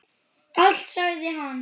Allt sagði hann.